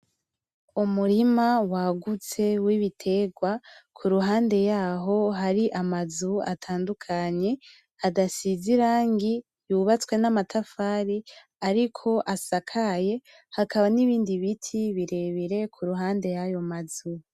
Umurima wagutse wibiterwa, kuruhande yaho hari amazu atandukanye, adasize irangi, yubatswe namatafari ariko asakaye, hakaba nibindi biti birebire kuruhande yayo mazu.